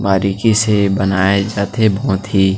बारीकी से बनाए जाथे बहोत ही--